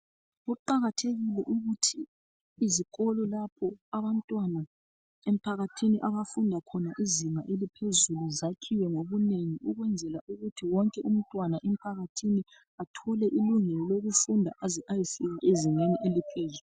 Kuqakathekile ukuthi izikolo lapha abantwana emphakathini abafunda khona izinga langaphezulu zakhiwe ngobunengi ukwenzela ukuthi wonke umntwana emphakathini athole ilungelo lokufunda aze ayefika ezingeni eliphezulu.